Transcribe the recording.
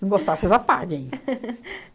Se não gostar, vocês apaguem.